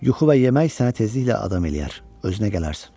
Yuxu və yemək sənə tezliklə adam eləyər, özünə gələrsən.